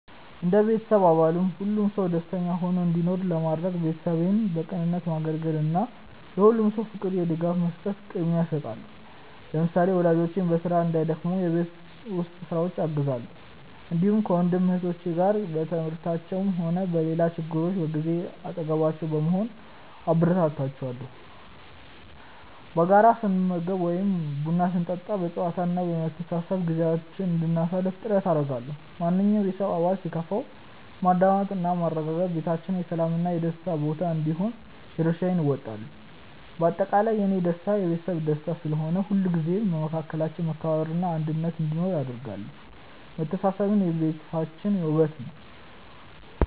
እንደ ቤተሰብ አባል ሁሉም ሰው ደስተኛ ሆኖ እንዲኖር ለማድረግ፣ ቤተሰቤን በቅንነት ማገልገልን እና ለሁሉም ሰው የፍቅር ድጋፍ መስጠትን ቅድሚያ እሰጣለሁ። ለምሳሌ፣ ወላጆቼ በስራ እንዳይደክሙ የቤት ውስጥ ስራዎችን አግዛለሁ፣ እንዲሁም ከወንድም እህቶቼ ጋር በትምህርታቸውም ሆነ በሌላ ችግራቸው ጊዜ አጠገባቸው በመሆን አበረታታቸዋለሁ። በጋራ ስንመገብ ወይም ቡና ስንጠጣ በጨዋታ እና በመተሳሰብ ጊዜያችንን እንድናሳልፍ ጥረት አደርጋለሁ። ማንኛውም የቤተሰብ አባል ሲከፋው በማዳመጥ እና በማረጋጋት ቤታችን የሰላም እና የደስታ ቦታ እንዲሆን የድርሻዬን እወጣለሁ። በአጠቃላይ፣ የእኔ ደስታ የቤተሰቤ ደስታ ስለሆነ፣ ሁልጊዜም በመካከላችን መከባበር እና አንድነት እንዲኖር አደርጋለሁ። መተሳሰብ የቤታችን ውበት ነው።